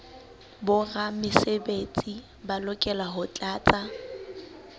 boramesebetsi ba lokela ho tlatsa